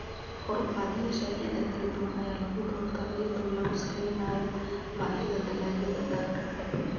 Kor-u-qaadayaasha ciidda kala duwan ayaa lagu doortaa iyadoo lagu saleynayo baahida dalagyada gaarka ah.